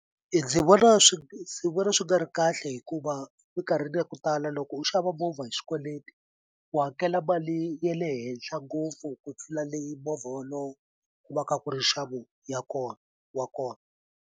Ndzi vona ndzi vona swi nga ri kahle hikuva minkarhini ya ku tala loko u xava movha hi swikweleti u hakela mali ye le henhla ngopfu ku tlula leyi movha wolowo ku va ka ku ri nxavo ya kona wa kona.